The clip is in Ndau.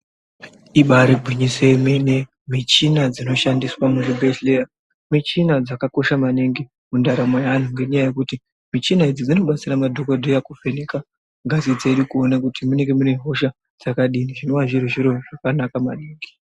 Ibaari gwinyiso yemene michina dzinoshandiswa muzvibhehleya, michina dzakakosha maningi mundaramo yeanhu ngenyaya yekuti michina idzi dzinobatsira madhokodheya kuvheneka ngazi dzedu kuone kuti munenge mune hosha dzakadini zvinova zviri zviro zvakanaka maningi.